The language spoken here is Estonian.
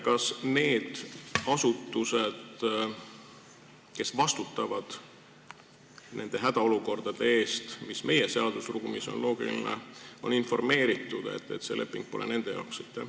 Kas need asutused, kes vastutavad nende hädaolukordade lahendamise eest, mis on meie seadusruumis loogiline, on informeeritud, et see leping pole nende jaoks?